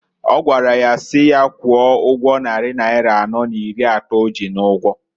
Ọ gwara ya nyaa si ya kwụọ ụgwọ nnari naira anọọ n'iri atọọ o ji n'ụgwọǃ